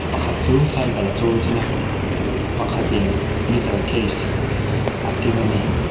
pakhat chu cycle a chuang chhin a pakhat in guitar case a keng a ni.